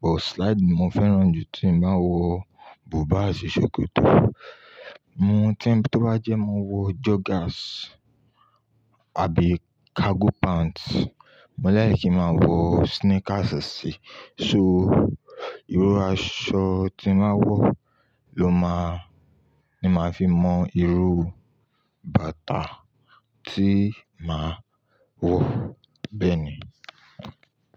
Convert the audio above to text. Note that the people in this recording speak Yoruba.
But slide ni mo fẹ́ràn jù tí mo bá ń wọ búbà àti ṣòkòtò. Mo-- tí-- tó bá jẹ́ mo wọ joggers àbí cargo pants, mo like kí màá wọ sneakers sí i. So, irú aṣọ tí n bà wọ ló máa-- ni màá fi mọ irú bàtà tí màá wọ. Bẹ́ẹ̀ ni.